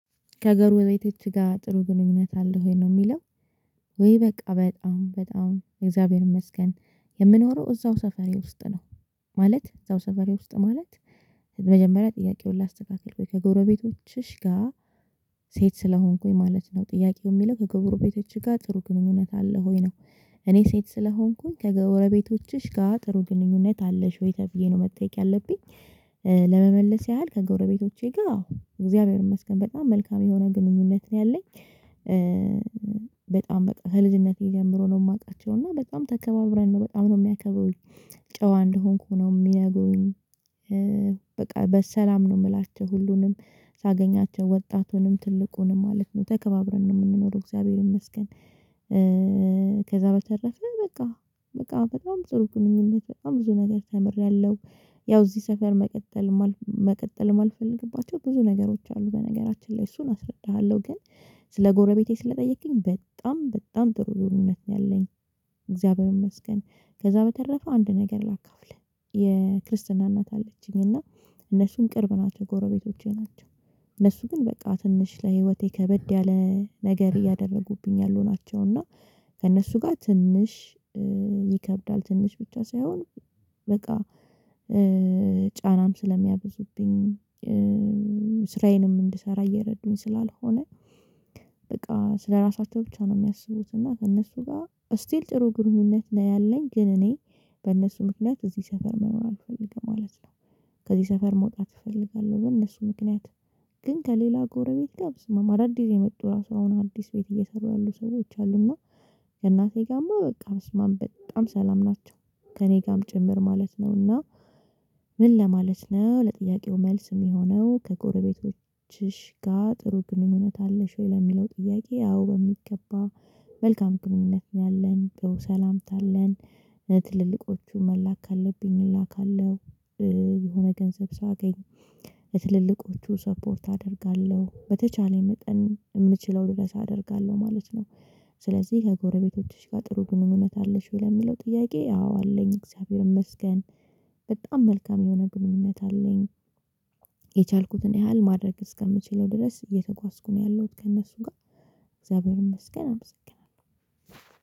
ከገሩቤቶች ጋር ጥሩ ግንኙነት አለህ ወይ ነው ሚለው? ወይ በቃ በጣም በጣም እግዚአብሔር ይመስገን የምኖረው እዛው ሰፈሬ ውስጥ ነው። ማለት እዛው ሰፈሬ ውስጥ ማለት። መጀመሪያ ጥያቄውን ላስተካከል ከጎረቤቶችሽ ጋር ሴት ስለሆንኩኝ ማለት ነው ጥያቄው የሚለው ከጎረቤቶችሽ ጋር ጥሩ ግንኙነት አለህ ሆይ ነው? እኔ ሴት ስለሆንኩኝ ከገወረቤቶችሽ ጋር ጥሩ ግንኙነት አለሽ ወይ ተብዬ ነው መጠየቅ ያለብኝ። ለመመለስ ያህል ከጎረቤቶቼ ጋር አዎ እግዚአብሔር ይመስገን በጣም መልካም የሆነ ግንኙነት ነው ያለኝ። በጣም በቃ ከልጅነቴ ጀምሮ ነው የማውቃቸው እና በጣም ተከባብረን ነው በጣም ነው የሚያከብሩኝ። ጨዋ እንደሆንኩ ነው ሚነገሩኝ። በቃ በሰላም ነው የምላቸው ሁሉንም ሳገኛቸው ወጣቱንም ትልቁንም ማለት ነው ተከባብረን ነው ምንኖረው እግዚአብሔር ይመስገን። ከዛ በተረፈ በቃ በቃ በጣም ጥሩ ግንኙነት በጣም ብዙ ነገር ተምሬያለሁ። ያው እዚህ ሰፈር መቀጠል መቀጠል የማልፈልግባቸው ብዙ ነገሮች አሉ በነገራችን ላይ እሱን አስረዳሃለሁ ግን። ስለ ጎረቤቴ ስለጠየቀከኝ በጣም በጣም ጥሩ ግንኙነት ነው ያለኝ። እግዚአብሔር ይመስገን ከዛ በተረፈ አንድ ነገር ላካፍልህ። የክርስትና እናት አለችኝ እና እነሱም ቅርብ ናቸው ጎረቤቶቼ ናቸው። እነሱ ግን በቃ ትንሽ ለህይወቴ ከበድ ያለ ነገር እያደረጉብኝ ያሉ ናቸው እና። ከእነሱ ጋር ትንሽ ይከብዳል ትንሽ ብቻ ሳይሆን። በቃ ጫናም ስለሚያብዙብኝ። ስራዬንም እንድሰራ እየረዱኝ ስላልሆነ። በቃ ስለራሳቸው ብቻ ነው ሚያስቡት እና ከእነሱ ጋር ስቲል ጥሩ ግንኙነት ላይ ያለኝ ግን እኔ በእነሱ ምክንያት እዚህ ሰፈር መኖር አልፈልግም ማለት ነው። ከዚህ ሰፈር መውጣት እፈልጋለሁ በእነሱ ምክንያት። ግን ከሌላ ጎረቤት ጋር በስማም አዳዲስ የመጡ ራሱ አሁን አዲስ ቤት እየሰሩ ያሉ ሰዎች አሉና። እናቴ ጋርማ በቃ በስማም በጣም ሰላም ናቸው። ከእኔ ጋርም ጭምር ማለት ነው እና። ምን ለማለት ነው ለጥያቄው መልስ የሚሆነው ከጎረቤቶችሽ ጋር ጥሩ ግንኙነት አለሽ ወይ ለሚለው ጥያቄ አዎ በሚገባ። መልካም ግንኙነት ነው ያለን ጥሩ ሰላምታ አለን። ትልልቆቹ መላክ ካለብኝ እላካለሁ። የሆነ ገንዘብ ሳገኝ ለትልልቆቹ ሰፖርት አደርጋለሁ በተቻለኝ መጠን የምችለው ድረስ አደርጋለሁ ማለት ነው። ስለዚህ ከጎረቤቶችሽ ጋር ጥሩ ግንኙነት አለሽ ወይ? ለሚለው ጥያቄ አዎ አለኝ እግዚአብሔርን ይመስገን። በጣም መልካም የሆነ ግንኙነት አለኝ። የቻልኩትን ያህል ማድረግ እስከምችለው ድረስ እየተጓዝኩ ነው ያለሁት ከእነሱ ጋር። እግዚአብሔርን መስገን አመሰግናለሁ